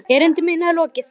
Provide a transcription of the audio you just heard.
Erindi mínu er lokið!